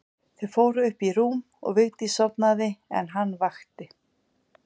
Þau fóru upp í rúm og Vigdís sofnaði en hann vakti.